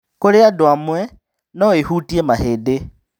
Kũrĩ andũ amwe, no ĩhutie mahĩndĩ.